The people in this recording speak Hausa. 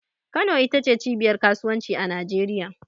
Kano ita ce cibiyar kasuwanci a Najeriya.